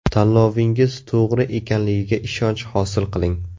Tanlovingiz to‘g‘ri ekanligiga ishonch hosil qiling!